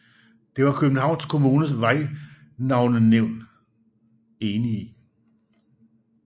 Det var Københavns Kommunes Vejnavnenævnet enig i